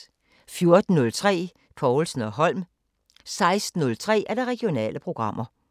14:03: Povlsen & Holm 16:03: Regionale programmer